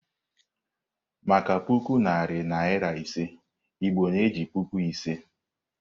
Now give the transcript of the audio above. Maka puku narị naịra ise, Igbo na-eji "Puku Ise."